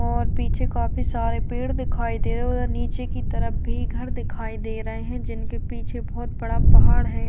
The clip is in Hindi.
और पीछे काफ़ी सारे पेड़ दिखाई देओ है और नीचे की तरफ भी घर दिखाई दे रहे है जिनके पीछे बहोत बड़ा पहाड़ है।